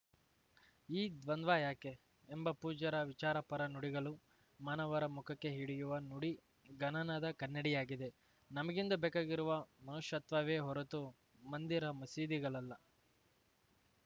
ಈ ದ್ವಂದ್ವ ಯಾಕೆ ಎಂಬ ಪೂಜ್ಯರ ವಿಚಾರಪರ ನುಡಿಗಳು ಮಾನವರ ಮುಖಕ್ಕೆ ಹಿಡಿಯುವ ನುಡಿಗಣನದ ಕನ್ನಡಿಯಾಗಿದೆ ನಮಗಿಂದು ಬೇಕಾಗಿರುವ ಮನುಷ್ಯತ್ವವೇ ಹೊರತು ಮಂದಿರ ಮಸೀದಿಗಳಲ್ಲ